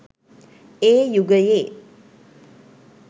ඒ යුගයේ